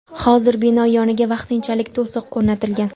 Hozir bino yoniga vaqtinchalik to‘siq o‘rnatilgan.